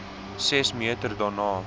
ses meter daarna